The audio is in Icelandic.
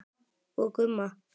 Og Gumma.